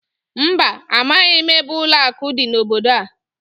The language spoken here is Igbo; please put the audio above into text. Mba, amaghị m ebe ụlọakụ dị n'obodo a